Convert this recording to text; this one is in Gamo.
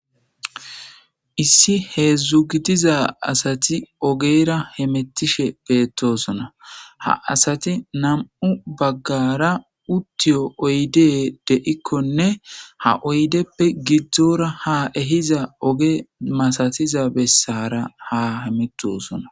issi hee dzdzu gidiza asati ogeyra hemettishe beettosona ha asati nam7u baggara uttiyo oyde de7ikkonne ha oydeppe gidzdzora ha ehiza oge masatiza bessara ha hemitosona